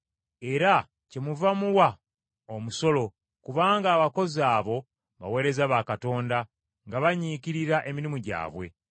Era kyemuva muwa omusolo kubanga abakozi abo baweereza ba Katonda nga banyiikirira emirimu gyabwe.